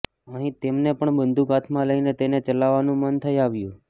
અહીં તેમને પણ બંદૂક હાથમાં લઇને તેને ચલાવવાનું મન થઇ આવ્યું